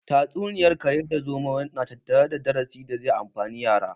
Tatsuniyar kare da zomo na tattare da darasi da zai amfani yara